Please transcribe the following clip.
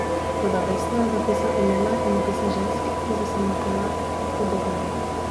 Toda vestno je zapisal imena in opise žensk, ki so se mu zdele spodobne.